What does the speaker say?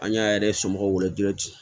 An y'a yɛrɛ somɔgɔw wele